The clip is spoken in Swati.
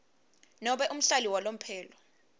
nobe umhlali walomphelo